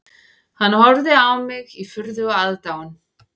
Hann horfði á mig í furðu og aðdáun